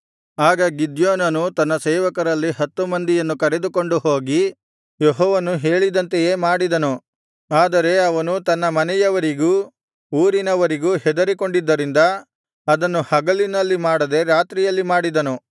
ಆಗ ಗಿದ್ಯೋನನು ತನ್ನ ಸೇವಕರಲ್ಲಿ ಹತ್ತು ಮಂದಿಯನ್ನು ಕರೆದುಕೊಂಡು ಹೋಗಿ ಯೆಹೋವನು ಹೇಳಿದಂತೆಯೇ ಮಾಡಿದನು ಆದರೆ ಅವನು ತನ್ನ ಮನೆಯವರಿಗೂ ಊರಿನವರಿಗೂ ಹೆದರಿಕೊಂಡಿದ್ದರಿಂದ ಅದನ್ನು ಹಗಲಿನಲ್ಲಿ ಮಾಡದೆ ರಾತ್ರಿಯಲ್ಲಿ ಮಾಡಿದನು